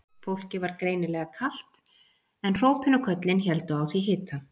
Fólki var greinilega kalt en hrópin og köllin héldu á því hita.